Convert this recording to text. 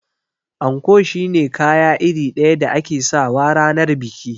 Anko shine kaya iri ɗaya da ake sawa ranar biki